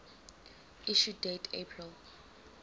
issue date april